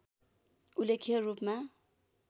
उल्लेख्य रूपमा